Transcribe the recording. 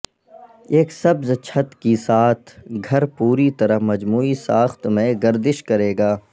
ایک سبز چھت کے ساتھ گھر پوری طرح مجموعی ساخت میں گردش کرے گا